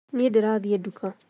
Niĩ ndĩrathiĩ nduka